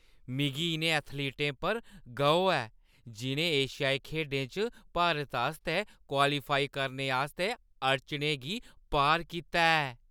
मिगी इʼनें एथलीटें पर गौह् ऐ जि'नें एशियाई खेढें च भारत आस्तै क्वालीफाई करने आस्तै अड़चनें गी पार कीता ऐ।